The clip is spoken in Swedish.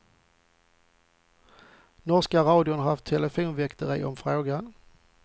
Norska radion har haft telefonväkteri om frågan.